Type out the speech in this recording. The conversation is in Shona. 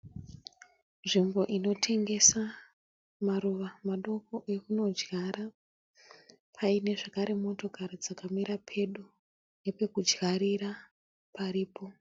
Nzvimbo inotengesa maruva madoko ekunodyara . Paine zvekare motokari dzakamira pedo , nepekudyarira paripo.